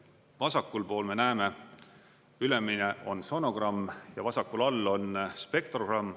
Vasakul pool me näeme, ülemine on sonogramm ja vasakul all on spektrogramm.